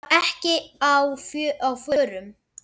Hann var ekki á förum.